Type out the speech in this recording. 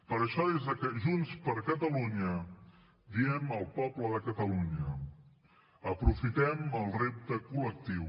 per això des de junts per catalunya diem al poble de catalunya aprofitem el repte collectiu